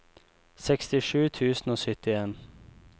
sekstisju tusen og syttien